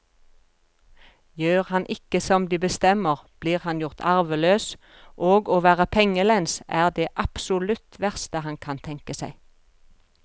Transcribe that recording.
Gjør han ikke som de bestemmer, blir han gjort arveløs, og å være pengelens er det absolutt verste han kan tenke seg.